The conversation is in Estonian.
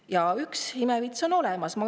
Ja üks imevits on olemas.